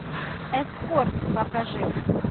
эскорт покажи